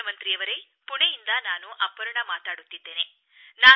ಪ್ರಧಾನಮಂತ್ರಿಯವರೇ ಪುಣೆಯಿಂದ ನಾನು ಅಪರ್ಣಾ ಮಾತಾಡುತ್ತಿದ್ದೇನೆ